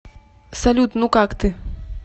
салют ну как ты